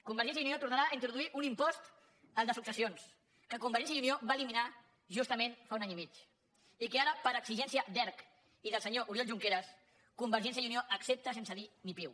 convergència i unió tornarà a introduir un impost el de successions que convergència i unió va eliminar justament fa un any i mig i que ara per exigència d’erc i del senyor oriol junqueras convergència i unió accepta sense dir ni piu